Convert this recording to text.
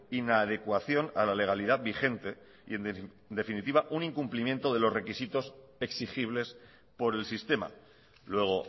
inadecuación a la legalidad vigente y en definitiva un incumplimiento de los requisitos exigibles por el sistema luego